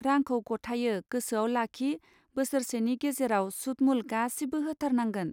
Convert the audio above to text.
रांखौ गथायो गोसोआव लाखि बोसोरसेनि गेजेराव सुत मुल गासिबो होथारनांगोन.